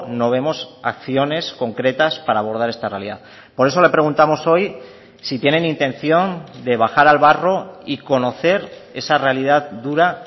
no vemos acciones concretas para abordar esta realidad por eso le preguntamos hoy si tienen intención de bajar al barro y conocer esa realidad dura